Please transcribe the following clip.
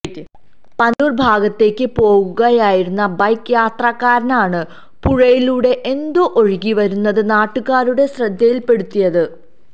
പന്തല്ലൂര് ഭാഗത്തേക്ക് പോവുകയായിരുന്ന ബൈക്ക് യാത്രക്കാരാണ് പുഴയിലൂടെ എന്തോ ഒഴുകിവരുന്നത് നാട്ടുകാരുടെ ശ്രദ്ധയില്പെടുത്തിയത്